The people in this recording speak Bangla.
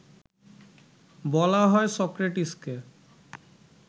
বলা হয় সক্রেটিসকে